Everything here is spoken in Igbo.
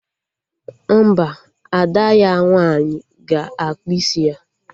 Mba, Ada ya nwaanyị ga-akpụ isi ya